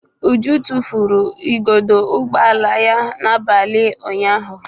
Uju tufuru igodo ụgbọ ala ya n'abalị ụnyaahụ.